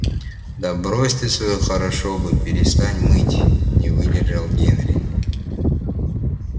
да брось ты своё хорошо бы перестань мыть не выдержал генри